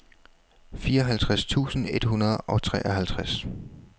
fireoghalvtreds tusind et hundrede og treoghalvtreds